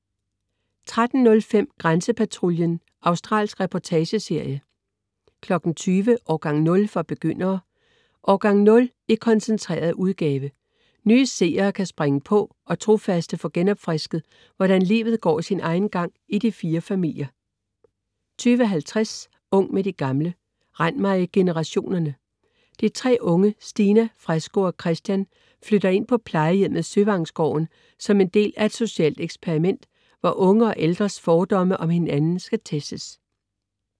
13.05 Grænsepatruljen. Australsk reportageserie 20.00 Årgang 0 for begyndere. Årgang 0 i koncentreret udgave. Nye seere kan springe på og trofaste få genopfrisket, hvordan livet går sin egen gang i de fire familier 20.50 Ung med de gamle. Rend mig i generationerne. De tre unge, Stina, Fresco og Christian flytter ind på plejehjemmet Søvangsgården, som en del af et socialt eksperiment, hvor unge og ældres fordomme om hinanden skal testes